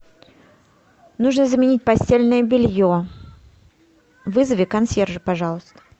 нужно заменить постельное белье вызови консьержа пожалуйста